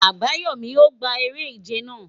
Ayobami, O gba ere-ije naa